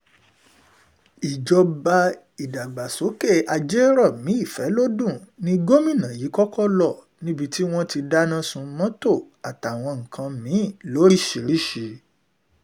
ìjọba ìdàgbàsókè àjèjòmi ìfọgbọ́n ní gómìnà yìí kọ́kọ́ lọ níbi tí wọ́n ti dáná sun mọ́tò àtàwọn nǹkan mí-ín lóríṣìírísì